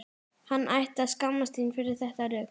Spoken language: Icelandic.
Hann ætti að skammast sín fyrir þetta rugl!